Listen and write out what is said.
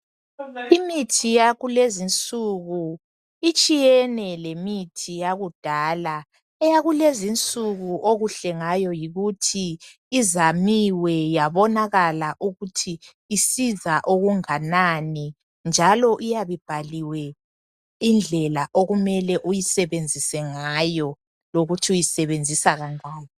Imithi yakulezinsuku itshiyene lemithi yakudala, eyakulezinsuku okuhle ngayo yikuthi izanyiwe yabonakala ukuthi isiza okunganani njalo iyabe ibhaliwe indlela okumele uyisebenzise ngayo lokuthi uyisebenzisa kangaki.